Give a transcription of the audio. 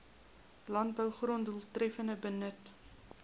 landbougrond doeltreffender benut